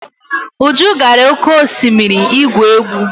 Uju gara oke osimiri igwu egwu.